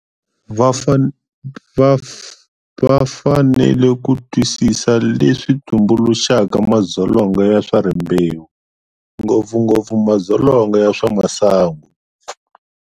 Va fanele ku twisisa leswi tumbuluxaka madzolonga ya swa rimbewu, ngopfungopfu madzolonga ya swa masangu.